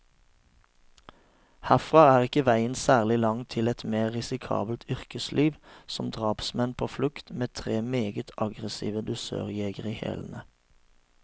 Herfra er ikke veien særlig lang til et mer risikabelt yrkesliv, som drapsmann på flukt, med tre meget aggressive dusørjegere i hælene.